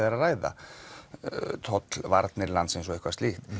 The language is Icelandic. er að ræða landsins og eitthvað slíkt